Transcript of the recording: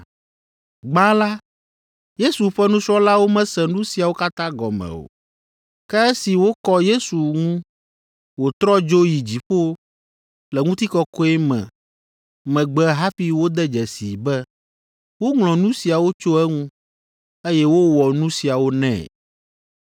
Gbã la, Yesu ƒe nusrɔ̃lawo mese nu siawo katã gɔme o. Ke esi wokɔ Yesu ŋu wòtrɔ dzo yi dziƒo le ŋutikɔkɔe me megbe hafi wode dzesii be woŋlɔ nu siawo tso eŋu, eye wowɔ nu siawo nɛ.